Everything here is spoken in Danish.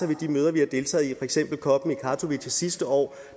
ved de møder vi har deltaget i eksempel copen i katowice sidste år